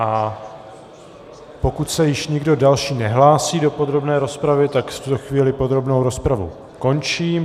A pokud se již nikdo další nehlásí do podrobné rozpravy, tak v tuto chvíli podrobnou rozpravu končím.